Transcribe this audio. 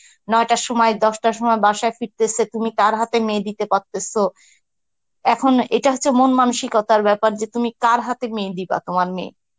নয়টার সময় দশটার সময় বাসায় ফিরতেসে তুমি কার হাতে মেয়ে দিতে পারতেসো, এখন এটা হচ্ছে মন মানসিকতার ব্যাপার যে তুমি কার হাতে মেয়ে দিবা তোমার মেয়ে